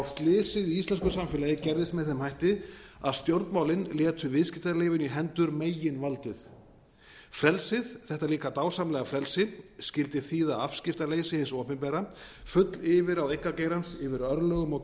slysið í íslensku samfélagi gerðist með þeim hætti að stjórnmálin létu viðskiptalífinu í hendur meginvaldið frelsið þetta líka dásamlega frelsi skyldi þýða afskiptaleysi hins opinbera full yfirráð einkageirans yfir örlögum og